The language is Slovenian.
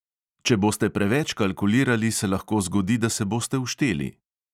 Če boste preveč kalkulirali, se lahko zgodi, da se boste ušteli.